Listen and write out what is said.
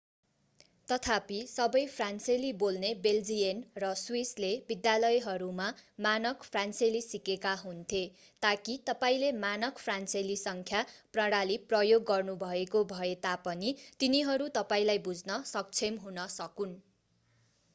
तथापि सबै फ्रान्सेली बोल्ने बेल्जियन र स्विसले विद्यालयहरूमा मानक फ्रान्सेली सिकेका हुन्थे ताकि तपाईंले मानक फ्रान्सेली सङ्ख्या प्रणाली प्रयोग गर्नुभएको भए तापनि तिनीहरू तपाईंलाई बुझ्न सक्षम हुन सकून्